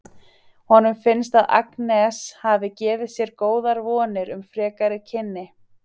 Honum finnst að Agnes hafi gefið sér góðar vonir um frekari kynni.